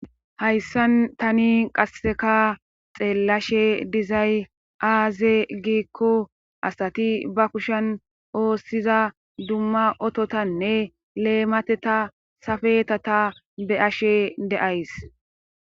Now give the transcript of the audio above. hayssan tani qasseka xeellashe dizay aaze giikko asati ba kushen oossiza dumma ototanne leemateta safeta ta be ashe deays